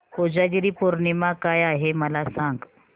कोजागिरी पौर्णिमा काय आहे मला सांग